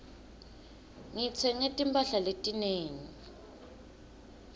ngitsenge timphahla letinengi